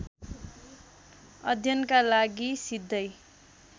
अध्ययनका लागि सिधै